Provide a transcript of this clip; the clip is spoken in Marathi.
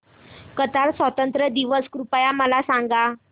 कतार स्वातंत्र्य दिवस कृपया मला सांगा